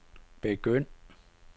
begynd